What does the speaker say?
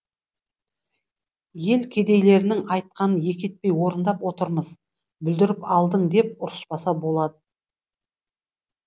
ел кедейлерінің айтқанын екі етпей орындап отырмыз бүлдіріп алдың деп ұрыспаса болады